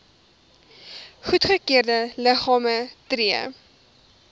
goedgekeurde liggame tree